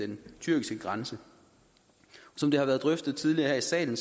den tyrkiske grænse som det har været drøftet tidligere her i salen